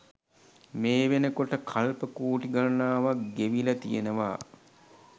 මේ වෙනකොට කල්ප කෝටි ගණනාවක් ගෙවිල තියෙනවා.